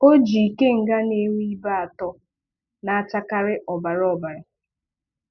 Ọjị ikenga na-enwe ibe atọ, na-achakarị ọbara ọbara